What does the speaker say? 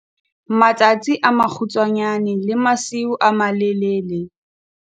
Matsatsi a makgutshwanyane le masiu a malelele.